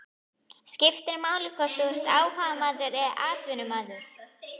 Skiptir máli hvort þú ert áhugamaður eða atvinnumaður?